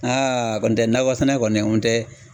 Aa kɔ n tɛ nakɔ sɛnɛ kɔni n tɛ